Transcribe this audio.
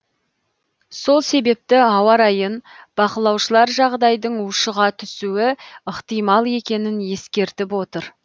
сол себепті ауа райын бақылаушылар жағдайдың ушыға түсуі ықтимал екенін ескертіп отыр